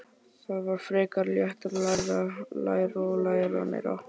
Það var frekar létt: að læra, læra og læra meira.